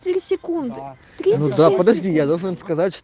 если секунд приду да подожди я должен сказать